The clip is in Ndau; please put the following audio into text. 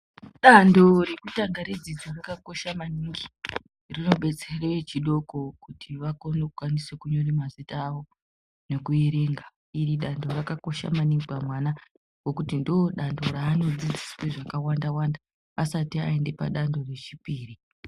Danto rekutanga redzidzo rakakosha maningi rinobetsere echidoko kuti vakone kukwanise kunyore mazita awo nekuerenga iri danto rakakosha maningi pamwana ngekuti ndodanto raanodzidziswe zvakawanda wanda asati aende padanto rechipiri.